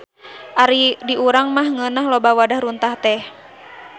Ari di urang mah ngeunah loba wadah runtah teh.